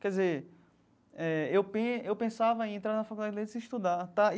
Quer dizer eh, eu pen eu pensava em entrar na faculdade de letras e estudar tá.